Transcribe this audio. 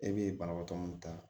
E be banabaatɔ min ta